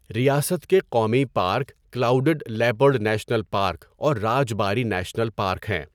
ریاست کے قومی park clouded leopard national park اور راج باری نیشنل پارک ہیں۔